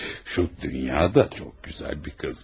O Dunya da çox gözəl bir qız imiş.